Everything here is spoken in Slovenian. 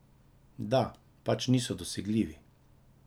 Da, pač niso dosegljivi.